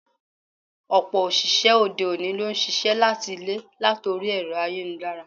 Ọ̀pọ̀ òṣìṣẹ́ òde-òní ló ń ṣiṣẹ́ láti ilé latori ẹ̀rọ ayélujára.